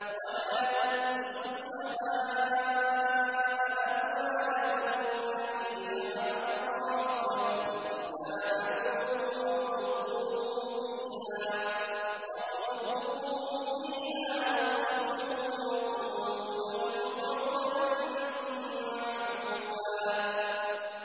وَلَا تُؤْتُوا السُّفَهَاءَ أَمْوَالَكُمُ الَّتِي جَعَلَ اللَّهُ لَكُمْ قِيَامًا وَارْزُقُوهُمْ فِيهَا وَاكْسُوهُمْ وَقُولُوا لَهُمْ قَوْلًا مَّعْرُوفًا